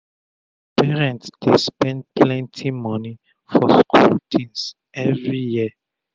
parents dey spend plenty moni for school tins everi year